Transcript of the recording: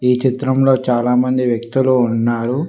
ఈ చిత్రంలో చాలా మంది వ్యక్తులు ఉన్నారు.